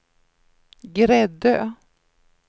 Gräddö